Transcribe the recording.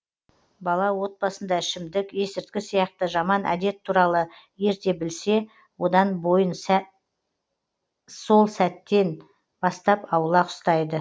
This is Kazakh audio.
бала отбасында ішімдік есіріткі сияқты жаман әдет туралы ерте білсе одан бойын сол сәттен бастап аулақ ұстайды